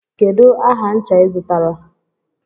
Kedu aha ncha ị zụtara?